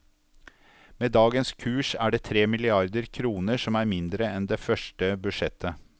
Med dagens kurs er det tre milliarder kroner, som er mindre enn det første budsjettet.